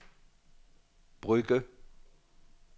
Brugge